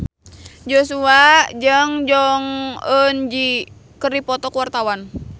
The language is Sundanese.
Joshua jeung Jong Eun Ji keur dipoto ku wartawan